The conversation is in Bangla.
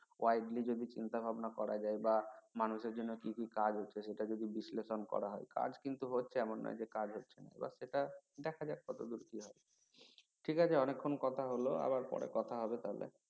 widely যদি চিন্তা ভাবনা করা যায় বা মানুষের জন্য কি কি কাজ হচ্ছে সেটা যদি বিশ্লেষণ করা হয় কাজ কিন্তু হচ্ছে এমন নয় যে কাজ হচ্ছে না আবার সেটা দেখা যাক কতদূর কি হয় ঠিক আছে অনেক্ষন কথা হল আবার পরে কথা হবে তাহলে